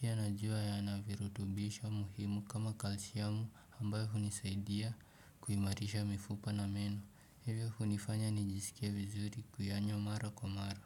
Pia najua yana virutubisho muhimu kama kalsiamu ambayo hunisaidia kuimarisha mifupa na meno, hivyo hunifanya nijisikie vizuri kuyanywa mara kwa mara.